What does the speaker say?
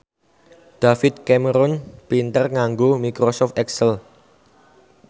David Cameron pinter nganggo microsoft excel